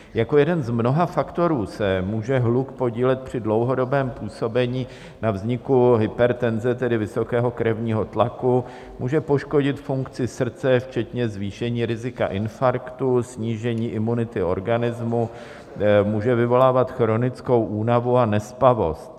Jako jeden z mnoha faktorů se může hluk podílet při dlouhodobém působení na vzniku hypertenze, tedy vysokého krevního tlaku, může poškodit funkci srdce včetně zvýšení rizika infarktu, snížení imunity organismu, může vyvolávat chronickou únavu a nespavost.